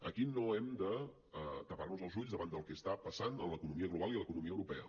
aquí no hem de tapar nos els ulls davant del que està passant en l’economia global i l’economia europea